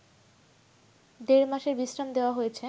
দেড় মাসের বিশ্রাম দেওয়া হয়েছে